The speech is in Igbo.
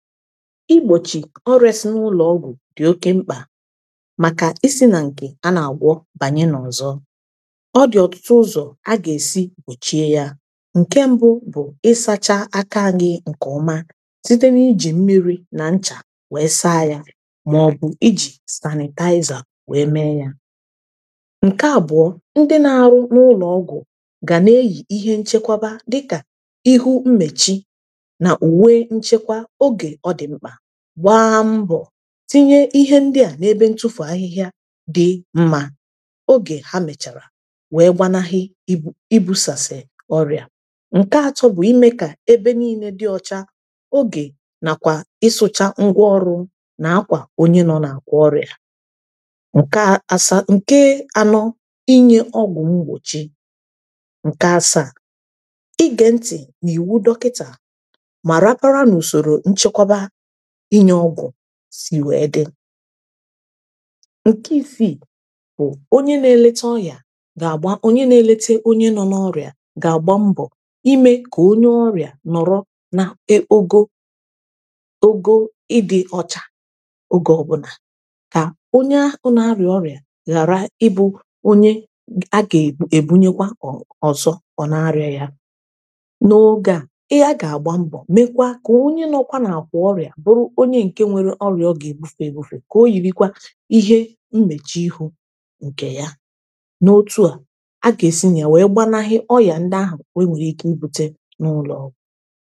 igbochi ọrịa n’ụlọ ọgwụ dị oke mkpa maka isi na nke a na-agwọ banye n’ọzọ ọ dị ọtụtụ ụzọ a ga-esi gbochie ya nke mbụ bụ ịsacha akaighị nke ọma site n’ijì mmiri na ncha wee saa ya ma ọ bụ ịjị sanịtaizà wee mee ya nke abụọ ndị na-arụ n’ụlọ ọgwụ ga na-eyì ihe nchekwaba dịka ihu mmechi gwaa mbọ tinye ihe ndị a n’ebe ntụfụ ahịhịa dị mma oge ha mèchàrà wee gbanaghị i i busàsị ọrịa nke atọ bụ ime ka ebe niine dị ọcha ogè nàkwà ịsụcha ngwa ọrụ na akwà onye nọ na-akwà ọrịa nke asa nke anọ inye ọgwụ mgbochi ǹke asa ige ntị n’iwu dọkịta ịnyeọgwụ si wee dị nke isii bụ onye na-eleta ọrịa ga-agba onye na-elete onye nọ n’ọrịa ga-agba mbọ ime ka onye ọrịa nọrọ na e ogo ogo ịdị ọcha ogè ọbụna ka onye ọ na-arịa ọrịa ghara ịbụ onye a ga-ebu ebunye kwa ọ ọzọ ọ na-arịa ya n’oge a ihe a ga-agba mbọ mekwa ka ihe ọ bụ̀ ya n’obì gị à bụrụ onye nke nwere ọrịà ọ gà-èbufè èbufè kà o yiri kwa ihe mmechì ịhụ̇ nkè yà n’otù à a gà-èsi nye wèe gbanaghi ọyà ndị ahụ̀ wèe nwèrè ike ibute n’ụlọ̀ọgwụ̀